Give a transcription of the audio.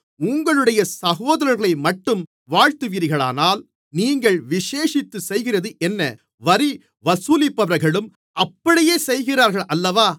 உங்களுடைய சகோதரர்களைமட்டும் வாழ்த்துவீர்களானால் நீங்கள் விசேஷித்துச் செய்கிறது என்ன வரி வசூலிப்பவர்களும் அப்படியே செய்கிறார்கள் அல்லவா